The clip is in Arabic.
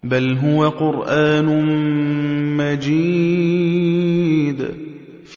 بَلْ هُوَ قُرْآنٌ مَّجِيدٌ